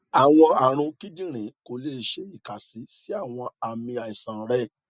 awọn arun kidinrin ko le ṣe ikasi si awọn aami aisan rẹ